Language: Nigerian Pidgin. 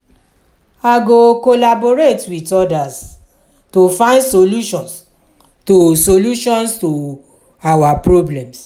i go collaborate with others to find solutions to solutions to our problems.